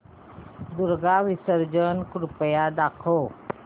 दुर्गा विसर्जन कृपया दाखव